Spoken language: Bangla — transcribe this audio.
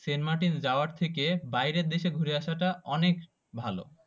সেন্ট মার্টিন যাওয়ার থেকে বাইরের দেশে ঘুরে আসাটা অনেক ভালো